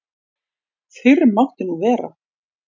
Fyrr mátti nú vera!